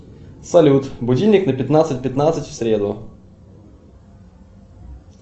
салют будильник на пятнадцать пятнадцать в среду